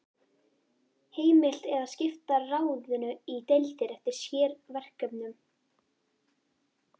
Heimilt er að skipta ráðinu í deildir eftir sérverkefnum.